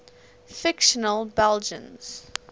fictional belgians